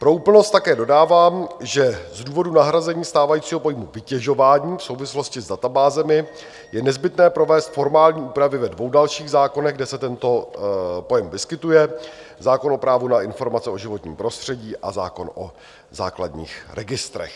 Pro úplnost také dodávám, že z důvodů nahrazení stávajícího pojmu vytěžování v souvislosti s databázemi je nezbytné provést formální úpravy ve dvou dalších zákonech, kde se tento pojem vyskytuje, zákon o právu na informace o životním prostředí a zákon o základních registrech.